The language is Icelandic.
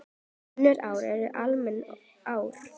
Önnur ár eru almenn ár.